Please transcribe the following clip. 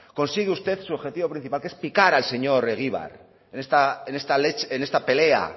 consigue usted su objetivo principal que es picar al señor egibar en esta leche en esta pelea